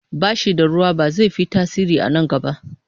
Bashi ba da ruwa ba zai fi tasiri a na gaba